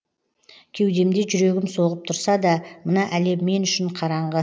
кеудемде жүрегім соғып тұрса да мына әлем мен үшін қараңғы